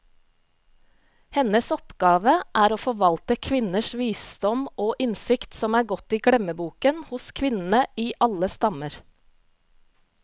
Hennes oppgave er å forvalte kvinners visdom og innsikt, som er gått i glemmeboken hos kvinnene i alle stammer.